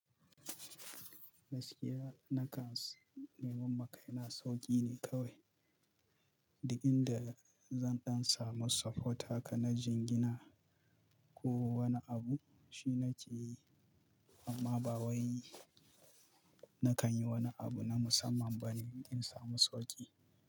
Gaskiya nakan nemanma kai na sauƙi ne kawai. Duk inda zan ɗan samu support haka na jingina, ko wani abu shi nake yi amma ba wai na kan yi wani abu na musamman ba ne in samu sauƙi.